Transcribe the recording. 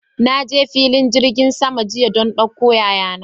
Na je filin jirgin sama jiya don ɗauko yaya na.